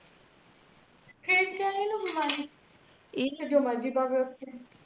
ਇਹਣੂ ਨੂ ਕੀ ਬਿਮਾਰੀ ਇਹ ਜੋ ਮਰਜੀ ਪਾਵੇ ਉੱਥੇ